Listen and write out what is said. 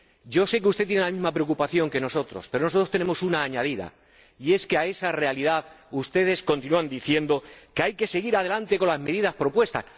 Yo sé que usted tiene la misma preocupación que nosotros, pero nosotros tenemos una añadida, y es que, pese a esa realidad, ustedes continúan diciendo que hay que seguir adelante ejecutando las medidas propuestas.